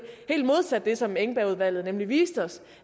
helt modsat det som engbergudvalget nemlig viste os